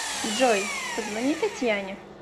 джой позвони татьяне